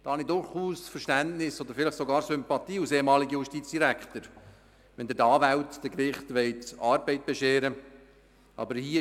Als ehemaliger Justizdirektor habe ich durchaus Verständnis oder sogar Sympathien, wenn Sie den Anwälten und Gerichten Arbeit bescheren möchten.